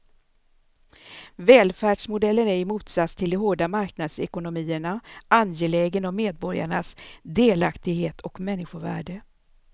Välfärdsmodellen är i motsats till de hårda marknadsekonomierna angelägen om medborgarnas delaktighet och människovärde.